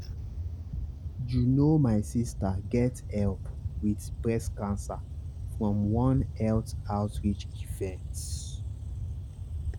you know my sister get help with breast cancer from one health outreach event.